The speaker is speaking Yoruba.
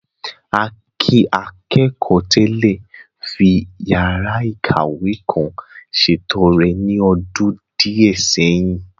Akin, akẹ́kọ̀ọ́ tẹ́lẹ̀, fi yàrá ìkàwé kan ṣètọrẹ ní ọdún díẹ̀ sẹ́yìn.